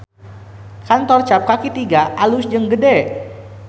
Kantor Cap Kaki Tiga alus jeung gede